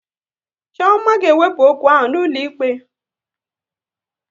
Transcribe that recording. Chioma ga ewepu okwu ahụ n'ụlọ ikpe